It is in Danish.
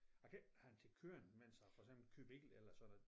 Jeg kan ikke have en ting kørende mens jeg for eksempel kører bil eller sådan noget